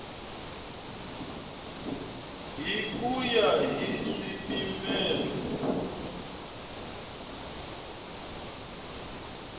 hi ku ya hi swipimelo